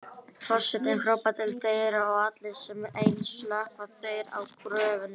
Forsetinn hrópar til þeirra og allir sem einn slökkva þeir á gröfunum.